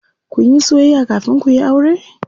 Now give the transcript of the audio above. Kunyi soyayya kafin kuyi aure?